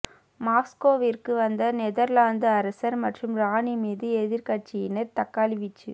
மாஸ்கோவிற்கு வந்த நெதர்லாந்து அரசர் மற்றும் ராணி மீது எதிர்கட்சியினர் தக்காளி வீச்சு